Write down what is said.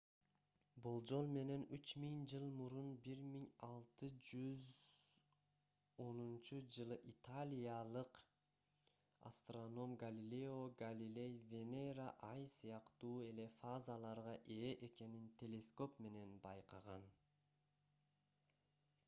болжол менен үч миң жыл мурун 1610-жылы италиялык астроном галилео галилей венера ай сыяктуу эле фазаларга ээ экенин телескоп менен байкаган